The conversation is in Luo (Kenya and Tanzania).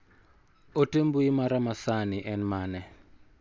Ote mbui mara ma sani en mane?